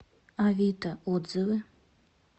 авито отзывы